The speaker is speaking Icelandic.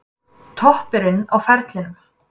Toppurinn á ferlinum